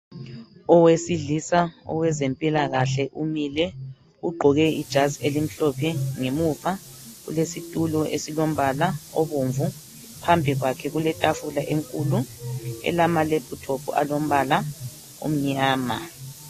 Owesilisa owezempilakahle umile ugqoke ijazi elimhlophe ngemuva kulesitulo esilombala obomvu phambi kwakhe kuletafula enkulu elama lephuthophu alombala omnyama.